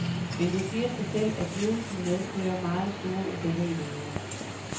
Men det siger sig selv, at lidelsen medfører meget store ubehageligheder.